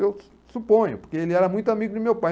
Eu suponho, porque ele era muito amigo do meu pai.